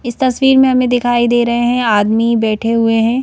इस तस्वीर में हमें दिखाई दे रहे हैं आदमी बैठे हुए हैं।